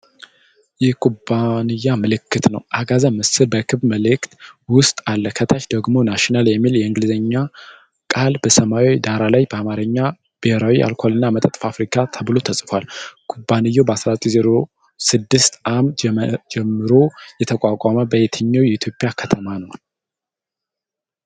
የኩባንያ ምልክት ነው። አጋዘን ምስል በክብ ምልክት ውስጥ አለ። ከታች ደግሞ "ናሽናል" የሚል የእንግሊዝኛ ቃል በሰማያዊ ዳራ ላይ በአማርኛ "ብሔራዊ የአልኮልና መጠጥ ፋብሪካ" ተብሎ ተጽፏል። ኩባንያው ከ1906 ዓ.ም ጀምሮ የተቋቋመው በየትኛው የኢትዮጵያ ከተማ ነው?